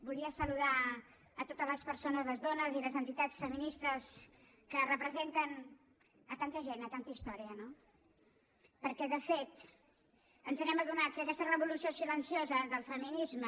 volia saludar totes les persones les dones i les entitats feministes que representen tanta gent tanta història no perquè de fet ens hem adonat que aquesta revolució silenciosa del feminisme